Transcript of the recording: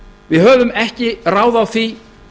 við höfum ekki ráð á því